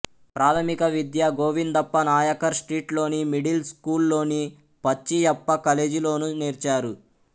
ప్రాథమిక విద్య గోవిందప్ప నాయకర్ స్ట్రీట్ లోని మిడిల్ స్కూలులోని పచ్చియప్పకలేజిలోను నేర్చారు